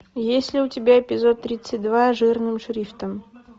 есть ли у тебя эпизод тридцать два жирным шрифтом